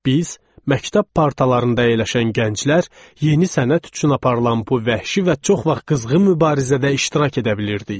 Biz, məktəb partalarında əyləşən gənclər, yeni sənət üçün aparılan bu vəhşi və çox vaxt qızğın mübarizədə iştirak edə bilirdik.